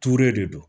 Ture de don